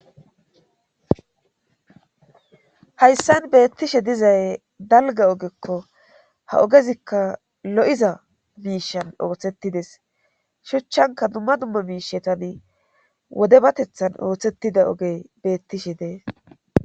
hayssan beettishe dizay dalga ogekko ha ogezikka lo7iza biishan ooththettides shuchchanka dumma dumma biishe tani wode batethan ooththettida ogey beettishe dees